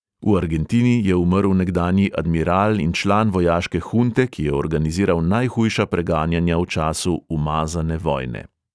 V argentini je umrl nekdanji admiral in član vojaške hunte, ki je organiziral najhujša preganjanja v času 'umazane vojne'.